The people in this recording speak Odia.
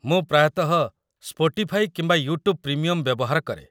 ମୁଁ ପ୍ରାୟତଃ ସ୍ପଟିଫାଇ କିମ୍ବା ୟୁଟ୍ୟୁବ୍ ପ୍ରିମିୟମ୍‌ ବ୍ୟବହାର କରେ।